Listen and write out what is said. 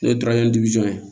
N'o ye ye